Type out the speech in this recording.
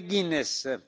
Mr